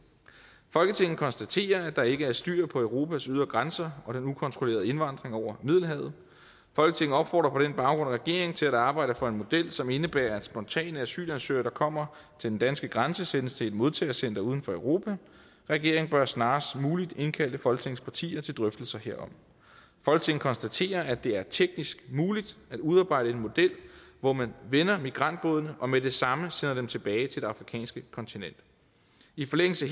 folketinget konstaterer at der ikke er styr på europas ydre grænser og den ukontrollerede indvandring over middelhavet folketinget opfordrer på den baggrund regeringen til at arbejde for en model som indebærer at spontane asylansøgere der kommer til den danske grænse sendes til et modtagecenter uden for europa regeringen bør snarest muligt indkalde folketingets partier til drøftelser herom folketinget konstaterer at det er teknisk muligt at udarbejde en model hvor man vender migrantbådene og med det samme sender dem tilbage til det afrikanske kontinent i forlængelse